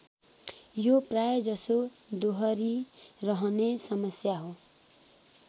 यो प्रायजसो दोहरिरहने समस्या हो